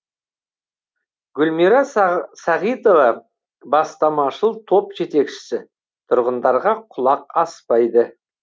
гүлмира сағитова бастамашыл топ жетекшісі тұрғындарға құлақ аспайды